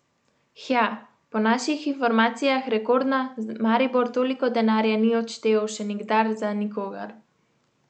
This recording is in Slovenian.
Hja, po naših informacijah rekordna, Maribor toliko denarja ni odštel še nikdar za nikogar.